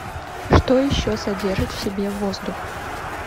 что еще содержит в себе воздух